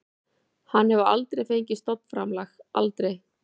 Hann hefur aldrei fengið stofnframlag, aldrei.